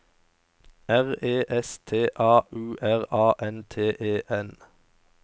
R E S T A U R A N T E N